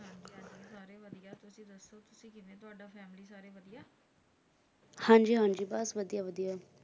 ਹਾਂਜੀ ਹਾਂਜੀ ਬੱਸ ਵਧੀਆ ਵਧੀਆ